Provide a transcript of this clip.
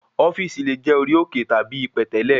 ofíìsì le jẹ̀ orí òkè tàbí ipẹ̀tẹ́lẹ̀